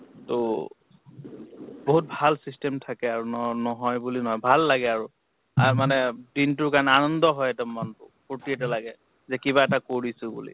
ত বহুত ভাল system থাকে আৰু ন নহয় বুলি ভাল লাগে আৰু আৰ মানে দিনটোৰ কাৰণে আনন্দ হয় এটা মন টো, ফুৰ্তি এটা লাগে যে কিবা এটা কৰিছো বুলি।